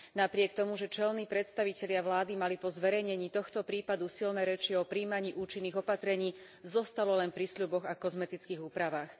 Napriek tomu, že čelní predstavitelia vlády mali po zverejnení tohto prípadu silné reči o prijímaní účinných opatrení, zostalo len pri sľuboch a kozmetických úpravách.